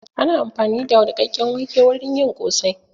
Ana amfani da niƙakken wake wurin yin ƙosai